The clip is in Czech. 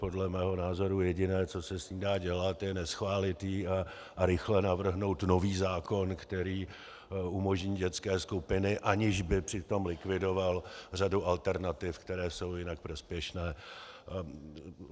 Podle mého názoru jediné, co se s ní dá dělat, je, neschválit ji a rychle navrhnout nový zákon, který umožní dětské skupiny, aniž by přitom likvidoval řadu alternativ, které jsou jinak prospěšné.